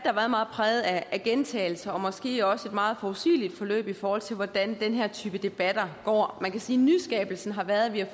præget af gentagelser og måske også af et meget forudsigeligt forløb i forhold til hvordan den her type debatter går man kan sige at nyskabelsen har været at vi har